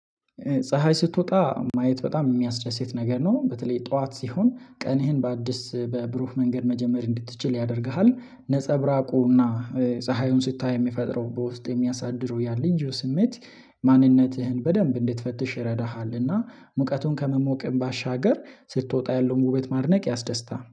ፀሀይ ስትወጣ ማየት በጣም የሚያስደስት ነገር ነው በተለይ ጠዋት ሲሆን ቀንህን በአደስ በብሩህ መንገድ መጀመር እንድትችል ያደርግሃል። ነፀብራቁና ፀሀዩን ስታይ የሚፈጥረው በውስጥ የሚያሳድረው ያ ልዩ ስሜት ማንነትህን በደንብ እንድትፈትሽ ይረዳሃልና። ሙቀቱን ከመሞቅም ባሻገር ስትወጣ ያለውን ውበት ማድነቅ ያስደስታል